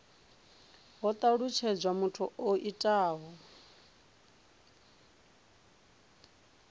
ho talutshedzwa muthu o itaho